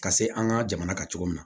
Ka se an ka jamana ka cogo min na